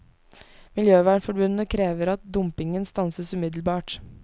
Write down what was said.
Miljøvernforbundet krever at dumpingen stanses umiddelbart.